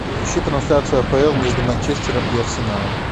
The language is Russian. ищи трансляцию апл между манчестером и арсеналом